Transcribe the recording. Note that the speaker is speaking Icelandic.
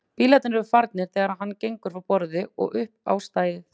Bílarnir eru farnir þegar hann gengur frá borði og upp á stæðið.